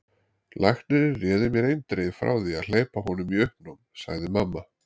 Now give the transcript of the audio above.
Læknirinn réði mér eindregið frá því að hleypa honum í uppnám, segir mamma.